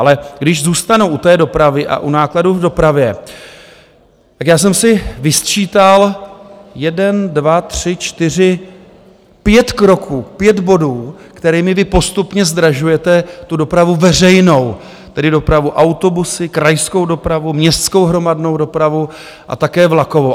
Ale když zůstanu u té dopravy a u nákladů v dopravě, tak já jsem si vysčítal jeden, dva, tři, čtyři, pět kroků, pět bodů, kterými vy postupně zdražujete tu dopravu veřejnou, tedy dopravu autobusy, krajskou dopravu, městskou hromadnou dopravu a také vlakovou.